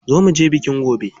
Za muje biki gobe.